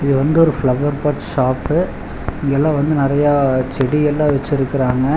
இது வந்து ஒரு ஃபிளவர் பாட் ஷாப்பு இங்கெல்லா வந்து நெறையா செடி எல்லா வச்சிருக்கறாங்க.